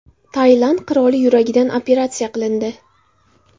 Tailand qiroli yuragidan operatsiya qilindi.